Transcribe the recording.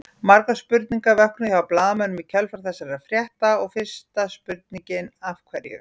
Margar spurningar vöknuðu hjá blaðamönnum í kjölfar þessa frétta og fyrsta spurningin Af hverju?